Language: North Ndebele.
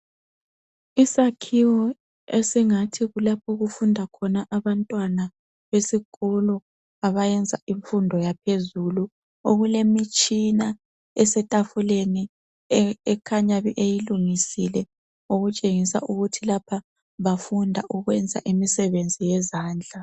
Isakhiwo esingathi kulapho okufunda khona abantwana besikolo abayenza imfundo yaphezulu okulemitshina etafuleni okukhanya beyilungisele, okutshengisa ukuthi lapha bafunda ukwenza imsebenzi yezandla.